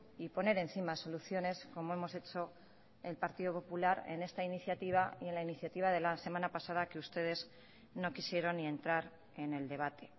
y poner encima soluciones como hemos hecho el partido popular en esta iniciativa y en la iniciativa de la semana pasada que ustedes no quisieron ni entrar en el debate